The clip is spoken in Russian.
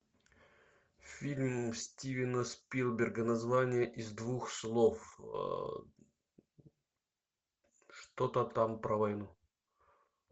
фильм стивена спилберга название из двух слов что то там про войну